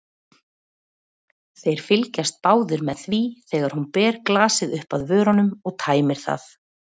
Þeir fylgjast báðir með því þegar hún ber glasið upp að vörunum og tæmir það.